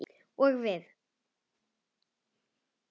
Og við?